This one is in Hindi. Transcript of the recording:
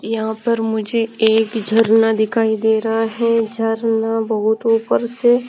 यहां पर मुझे एक झरना दिखाई दे रहा है झरना बहुत ऊपर से--